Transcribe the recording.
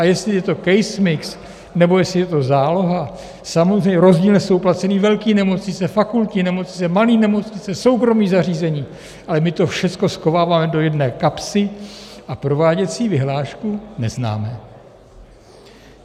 A jestli je to case mix, nebo jestli je to záloha, samozřejmě rozdílně jsou placeny velké nemocnice, fakultní nemocnice, malé nemocnice, soukromá zařízení, ale my to všecko schováváme do jedné kapsy a prováděcí vyhlášku neznáme.